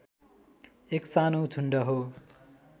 एक सानो झुण्ड हो